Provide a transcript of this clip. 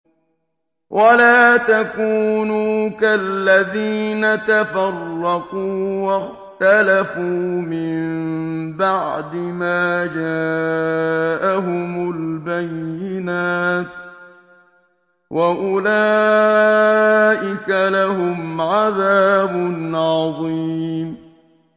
وَلَا تَكُونُوا كَالَّذِينَ تَفَرَّقُوا وَاخْتَلَفُوا مِن بَعْدِ مَا جَاءَهُمُ الْبَيِّنَاتُ ۚ وَأُولَٰئِكَ لَهُمْ عَذَابٌ عَظِيمٌ